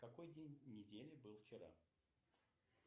какой день недели был вчера